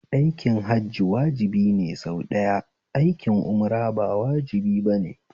Aikin Hajji wajibi ne sau ɗaya, aikin umra ba wajibi bane